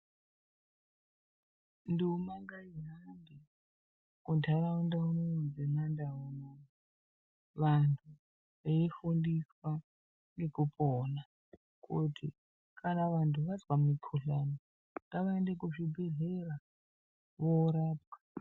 Nduma ngaihambe munharaunda munomu mwemandau. Vantu veifundiswa ngekupona kuti kana vantu vazwa mikhuhlani ngavaende kuzvibhendlera voorapwa.